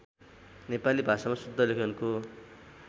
नेपाली भाषामा शुद्धलेखनको